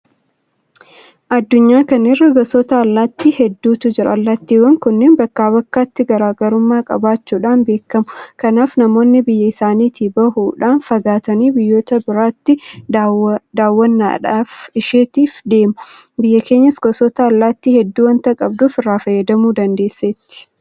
Addunyaa kana irra gosoota allaattii hedduutu jira. Allaattiiwwan kunneen bakkaa bakkatti garaa garummaa qabaachuudhaan beekamu. Kanaaf namoonni biyya isaaniitii bahuudhaa fagaatanii biyyoota biraatti daawwannaadhaaf isheetiif deemu. Biyyi keenyas gosoota allaattii hedduu waanta qabduuf irraa fayyadamuu dandeesseetti.